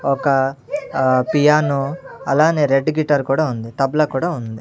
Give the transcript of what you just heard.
ఒక అహ్ పియానో అలానే రెడ్ గిటార్ కూడా ఉంది తబలా కూడా ఉంది.